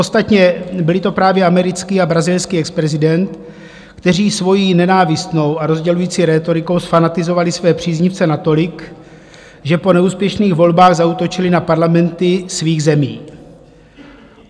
Ostatně byli to právě americký a brazilský exprezident, kteří svou nenávistnou a rozdělující rétorikou zfanatizovali své příznivce natolik, že po neúspěšných volbách zaútočili na parlamenty svých zemí.